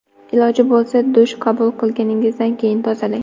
Iloji bo‘lsa, dush qabul qilganingizdan keyin tozalang.